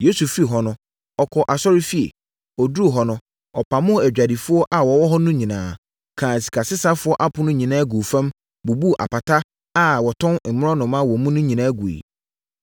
Yesu firii hɔ no, ɔkɔɔ asɔrefie. Ɔduruu hɔ no, ɔpamoo adwadifoɔ a wɔwɔ hɔ no nyinaa, kaa sikasesafoɔ apono nyinaa guu fam, bubuu apata a wɔtɔn mmorɔnoma wɔ mu no nyinaa guiɛ.